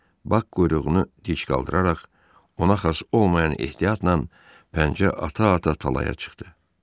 Bax quyruğunu dik qaldıraraq, ona xas olmayan ehtiyatla pəncə ata-ata talaya çıxdı.